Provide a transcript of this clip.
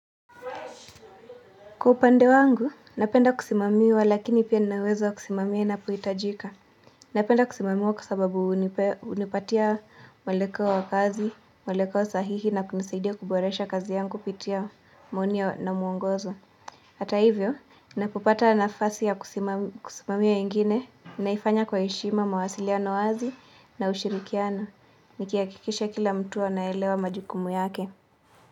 Kwa upande wangu, napenda kusimamiwa lakini pia nina uwezo kusimamia inapohitajika. Napenda kusimamiwa kwa sababu hunipatia mweleko wa kazi, mweleko sahihi na kunisaidia kuboresha kazi yangu kupitia maoni na muongozo Hata hivyo, ninapopata nafasi ya kusimamia wengine, naifanya kwa heshima mawasiliano wazi na ushirikiano Nikihakikisha kila mtu anaelewa majukumu yake.